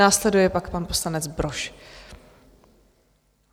Následuje pak pan poslanec Brož.